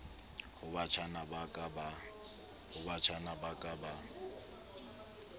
ho batjhana ba ka ba